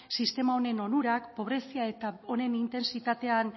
sistema honen onurak pobrezia eta honen intentsitatean